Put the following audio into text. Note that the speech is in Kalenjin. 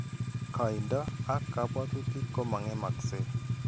Kaindo ak kabwatutik ko mang'emakse.